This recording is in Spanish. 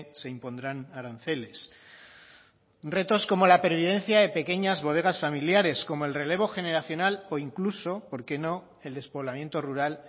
se impondrán aranceles retos como la pervivencia de pequeñas bodegas familiares como el relevo generacional o incluso por qué no el despoblamiento rural